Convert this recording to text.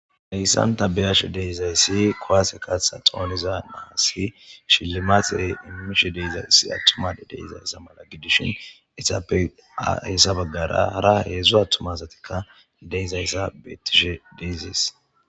Heyssan ta be7ayashe deizayssi kuwaase kaasse xooniza naasi shillimate immishe deeiza issi attuma deizaysa mala gidishin izappe hessa baggara hara heedzdzu attumazatikka de7izayssa beettishe deyzees.